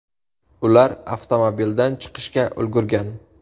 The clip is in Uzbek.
Ular avtomobildan chiqishga ulgurgan.